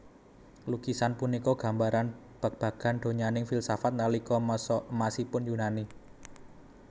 Lukisan punika gambaran babagan donyaning filsafat nalika masa emasipun Yunani